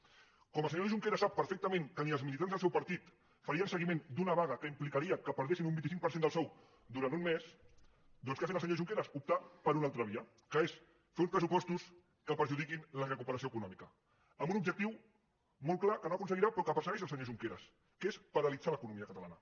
com el senyor junqueras sap perfectament que ni els militants del seu partit farien seguiment d’una vaga que implicaria que perdessin un vint cinc per cent del sou durant un mes doncs què ha fet el senyor junqueras optar per una altra via que és fer uns pressupostos que perjudiquin la recuperació econòmica amb un objectiu molt clar que no aconseguirà però que persegueix el senyor junqueras que és paralitzar l’economia catalana